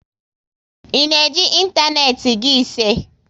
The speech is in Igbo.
I na eji ịntanetị Gii ise?